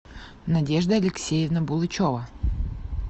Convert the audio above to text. надежда алексеевна булычева